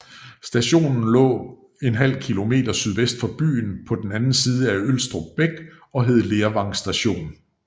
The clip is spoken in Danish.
Stationen lå ½ km sydvest for byen på den anden side af Ølstrup Bæk og hed Lervang Station